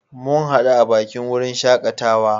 Mun hadu a bakin wurin shakatawa.